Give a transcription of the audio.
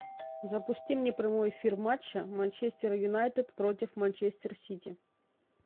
запусти мне прямой эфир матча манчестер юнайтед против манчестер сити